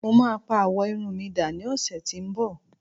mo ma pa awọ Irun mi da ni ọsẹ ti nbọ